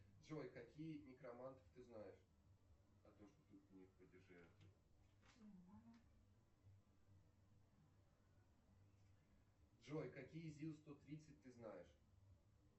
джой какие некроманты ты знаешь джой какие зил сто тридцать ты знаешь